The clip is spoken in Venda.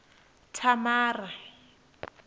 thamara